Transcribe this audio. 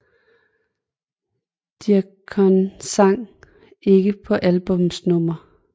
Deacon sang ikke på albummets nummer